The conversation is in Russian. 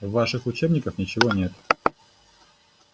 в ваших учебниках ничего нет